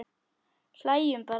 Hlæjum bara.